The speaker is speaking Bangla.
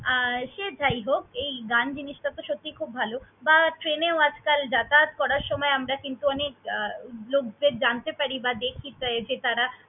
আর সে যায় হোক, এই গান জিনিসটা তো সত্যিই খুব ভালো বা train এও আজকাল যাতায়াত করার সময় আমরা কিন্তু অনেক লোকদের জানতে পারি বা দেখি যে তারা।